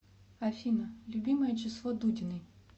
афина любимое число дудиной